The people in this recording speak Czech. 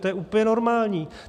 To je úplně normální.